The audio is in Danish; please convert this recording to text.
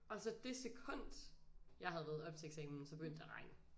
Og så det sekund jeg havde været oppe til eksamen så begyndte det at regne